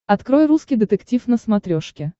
открой русский детектив на смотрешке